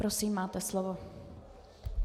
Prosím, máte slovo.